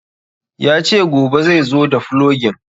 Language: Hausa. Ya ce gobe zaizo da fulogin